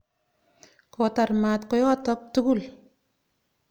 Kotar maat koyotok tukul.